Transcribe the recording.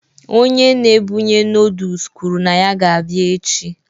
Onye na-ebunye noodles kwuru na ya ga-abịa echi